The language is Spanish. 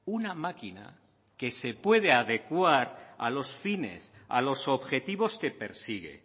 una máquina que se puede adecuar a los fines a los objetivos que persigue